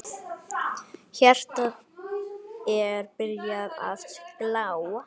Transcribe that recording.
Hjartað er byrjað að slá.